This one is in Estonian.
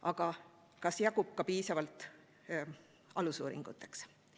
Aga kas jagub ka piisavalt alusuuringuteks?